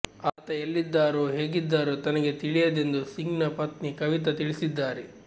ಆತ ಎಲ್ಲಿದ್ದಾರೋ ಹೇಗಿದ್ದಾರೋ ತನಗೆ ತಿಳಿಂುುದೆಂದು ಸಿಂಗ್ನ ಪತ್ನಿ ಕವಿತಾ ತಿಳಿಸಿದ್ದಾರೆ